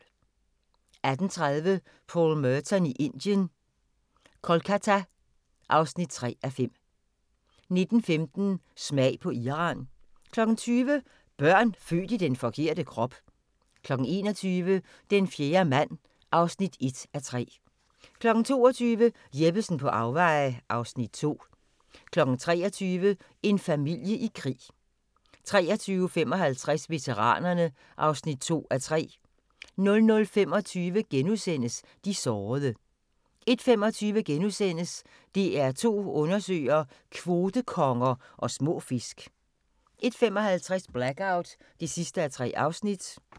18:30: Paul Merton i Indien – Kolkata (3:5) 19:15: Smag på Iran 20:00: Børn født i den forkerte krop 21:00: Den fjerde mand (1:3) 22:00: Jeppesen på afveje (Afs. 2) 23:00: En familie i krig 23:55: Veteranerne (2:3) 00:25: De sårede * 01:25: DR2 Undersøger: Kvotekonger og små fisk * 01:55: Blackout (3:3)